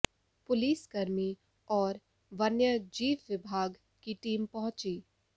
police कर्मी और वन्य जीव विभाग की टीम पहुंची